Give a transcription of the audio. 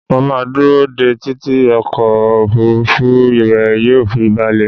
Mo máa dúró dé e títí ọkọ̀ òfuurufú rẹ yóò fi balẹ̀